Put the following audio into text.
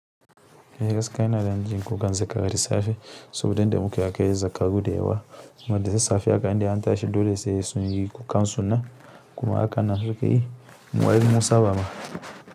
Eh gaskiya ina dajin kukan zakara da safe saboda inda muke akwai zakaru da yawa, kuma da sassafe aka indai an tashi dole sai sunyi kukan suna kuma aka nan sukeyi, mu har mun saba ma.